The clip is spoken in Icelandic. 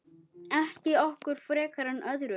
Ekki okkur frekar en öðrum.